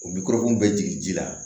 O bi kɔrɔkun bɛ jigin ji la